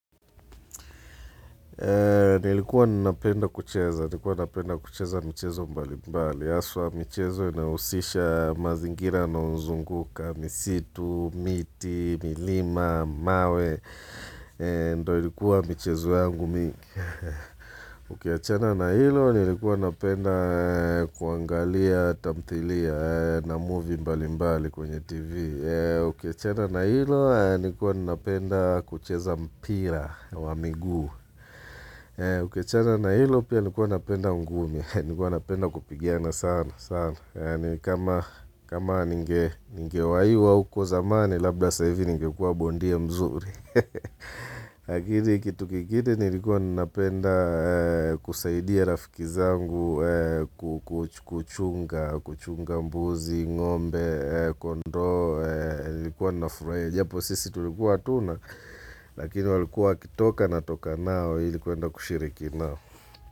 Nilikuwa nina penda kucheza, nikuwa nina penda kucheza mchezo mbali mbali. hAswa michezo inayousisha mazingira unaozunguka. Misitu, miti, milima, mawe. Ndio likuwa michezo yangu mingi. Ukiachana na hilo, nilikuwa napenda kuangalia, tamthilia na movie mbali mbali kwenye tv Ukiachana na hilo, nikuwa napenda kucheza mpira wa miguu Ukiachana na hilo, pia nikuwa napenda ungumi, nikuwa napenda kupigana sana kama ninge waiwa huko zamani, labda sasa hivi ningekua bondia mzuri Lakini kitu kingine nilikuwa nnapenda kusaidia rafiki zangu kuchunga mbuzi, ngombe, kondoo Nilikuwa nafurahia japo sisi tulikuwa hatuna Lakini walikuwa wakitoka natoka nao ili kuenda kushiriki nao.